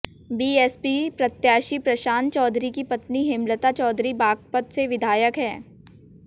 BSP प्रत्याशी प्रशांत चौधरी की पत्नी हेमलता चौधरी बागपत से विधायक है